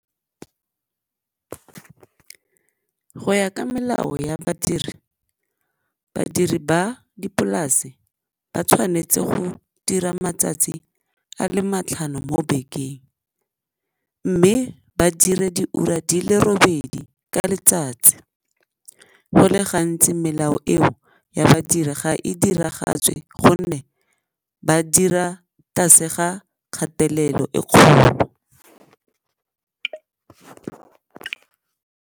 Go ya ka melao ya badiri, badiri ba dipolase ba tshwanetse go dira matsatsi a le matlhano mo bekeng mme ba dire diura di le robedi ka letsatsi, go le gantsi melao eo ya badiri ga e diragatswe gonne ba dira tlase ga kgatelelo e kgolo.